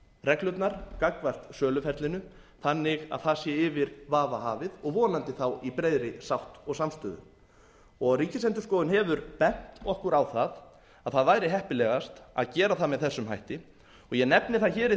reglurnar gagnvart söluferlinu þannig að það sé yfir vafa hafið og vonandi þá í breiðri sátt og samstöðu ríkisendurskoðun hefur bent okkur á það að það væri heppilegast að gera það með þessum hætti og ég nefni það hér í